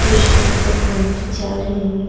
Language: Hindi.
कुछ अंकल आंटी जा रहे हैं।